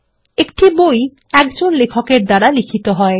একটি বই একজন লেখকের দ্বারা লিখিত হয়